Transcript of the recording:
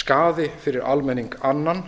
skaði fyrir almenning annan